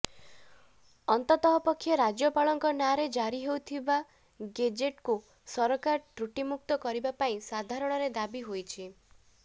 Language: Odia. ଅନ୍ତତଃପକ୍ଷେ ରାଜ୍ୟପାଳଙ୍କ ନାଁରେ ଜାରି ହେଉଥିବା ଗେଜେଟ୍କୁ ସରକାର ତ୍ରୁଟିମୁକ୍ତ କରିବା ପାଇଁ ସାଧାରଣରେ ଦାବି ହୋଇଛି